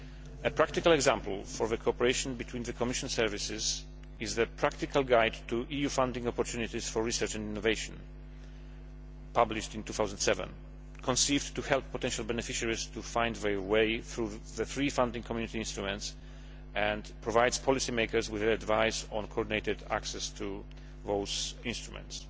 A practical example of cooperation between the Commission services is the Practical Guide to EU funding opportunities for research and innovation' published in 2007, which was conceived to help potential beneficiaries to find their way through the three funding Community instruments and provides policy makers with advice on coordinated access to those instruments.